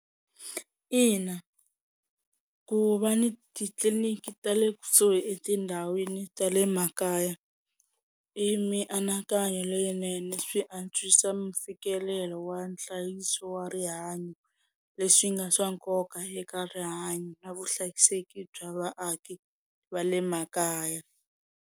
Ina ku va ni titliliniki ta le kusuhi etindhawini ta le makaya i mianakanyo leyinene swi antswisa mfikelelo wa nhlayiso wa rihanyo leswi nga swa nkoka eka rihanyo na vuhlayiseki bya vaaki va le makaya.